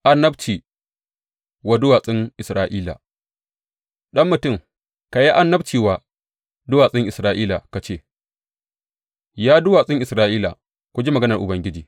Annabci wa duwatsun Isra’ila Ɗan mutum, ka yi annabci wa duwatsun Isra’ila ka ce, Ya duwatsun Isra’ila, ku ji maganar Ubangiji.